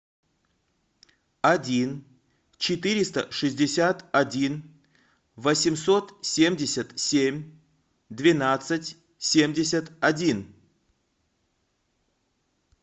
один четыреста шестьдесят один восемьсот семьдесят семь двенадцать семьдесят один